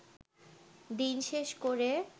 দিন শেষ করে